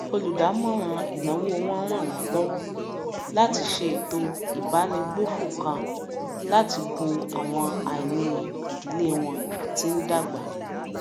olùdámọràn ìnáwó wọn ràn wọn lọwọ láti ṣe ètò ìbánigbófò kan láti bo àwọn àìní ìdílé wọn tí ń dàgbà